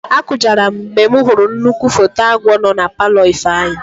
Akụjara m mgbe m hụrụ nnukwu foto agwọ nọ na palọ Ifeanyị.